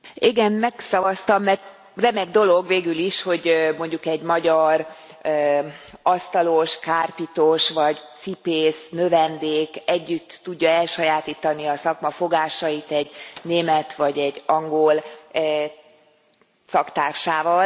Igen, megszavaztam, mert remek dolog végül is, hogy mondjuk egy magyar asztalos kárpitos vagy cipésznövendék együtt tudja elsajátítani a szakma fogásait egy német vagy egy angol szaktársával.